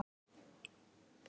Er það bara ekki jákvætt?